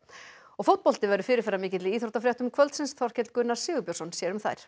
fótbolti verður fyrirferðamikill í íþróttafréttum kvöldsins Þorkell Gunnar Sigurbjörnsson sér um þær